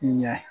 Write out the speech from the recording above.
Ɲɛ